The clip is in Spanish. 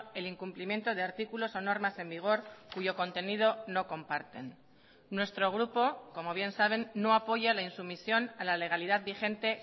el incumplimiento de artículos o normas en vigor cuyo contenido no comparten nuestro grupo como bien saben no apoya la insumisión a la legalidad vigente